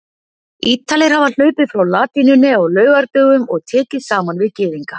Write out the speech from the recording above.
Ítalir hafa hlaupið frá latínunni á laugardögum og tekið saman við Gyðinga.